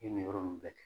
I ye nin yɔrɔ nin bɛɛ kɛ